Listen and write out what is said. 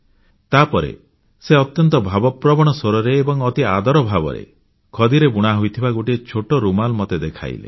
ତାପରେ ସେ ଅତ୍ୟନ୍ତ ଭାବପ୍ରବଣ ସ୍ୱରରେ ଏବଂ ଅତି ଆଦର ଭାବରେ ଖଦିରେ ବୁଣା ହୋଇଥିବା ଗୋଟିଏ ଛୋଟ ରୁମାଲ ମତେ ଦେଖେଇଲେ